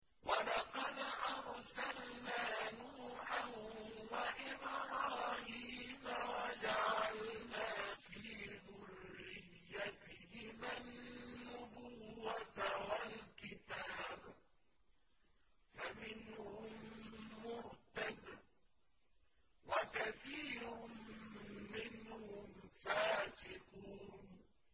وَلَقَدْ أَرْسَلْنَا نُوحًا وَإِبْرَاهِيمَ وَجَعَلْنَا فِي ذُرِّيَّتِهِمَا النُّبُوَّةَ وَالْكِتَابَ ۖ فَمِنْهُم مُّهْتَدٍ ۖ وَكَثِيرٌ مِّنْهُمْ فَاسِقُونَ